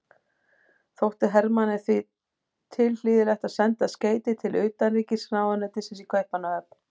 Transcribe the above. Þótti Hermanni því tilhlýðilegt að senda skeyti til utanríkisráðuneytisins í Kaupmannahöfn.